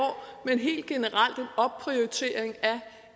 men helt generelt en opprioritering af